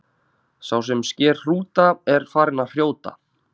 Sá sem sker hrúta er farinn að hrjóta.